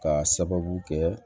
K'a sababu kɛ